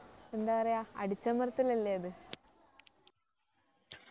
എന്താ പറയാ അടിച്ചമർത്തലല്ലേ അത്